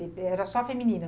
Porque era só feminina.